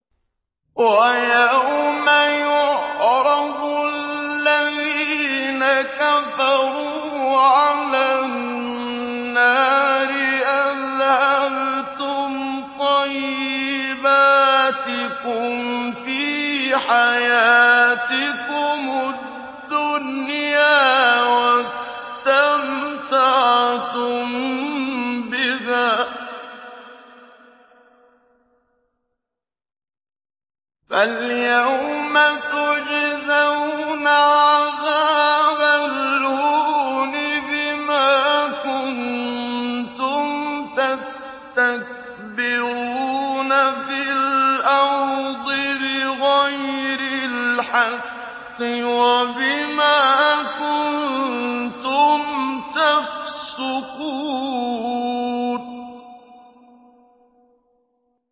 وَيَوْمَ يُعْرَضُ الَّذِينَ كَفَرُوا عَلَى النَّارِ أَذْهَبْتُمْ طَيِّبَاتِكُمْ فِي حَيَاتِكُمُ الدُّنْيَا وَاسْتَمْتَعْتُم بِهَا فَالْيَوْمَ تُجْزَوْنَ عَذَابَ الْهُونِ بِمَا كُنتُمْ تَسْتَكْبِرُونَ فِي الْأَرْضِ بِغَيْرِ الْحَقِّ وَبِمَا كُنتُمْ تَفْسُقُونَ